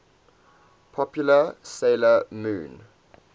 popular 'sailor moon